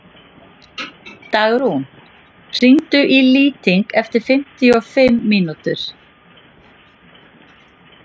Dalrún, hringdu í Lýting eftir fimmtíu og fimm mínútur.